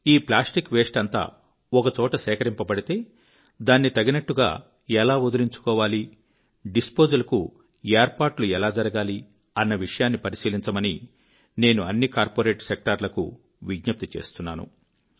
ఈ plastic waste అంతా ఒక చోట సేకరింపబడితే దాన్ని తగినట్టుగా ఎలా వదిలించుకోవాలి డిస్పోజల్ కు ఏర్పాటు ఎలా జరగాలి అనే విషయాన్ని పరిశీలించమని నేను అన్ని కార్పొరేట్ సెక్టార్లకు నేను విజ్ఞప్తి చేస్తున్నాను